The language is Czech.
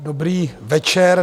Dobrý večer.